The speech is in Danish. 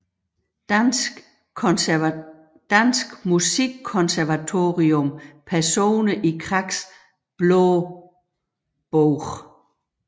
Danske Musikkonservatorium Personer i Kraks Blå Bog